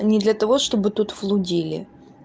не для того чтобы тут разговаривали